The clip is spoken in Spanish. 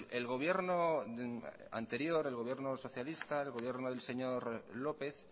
el gobierno anterior el gobierno socialista el gobierno del señor lópez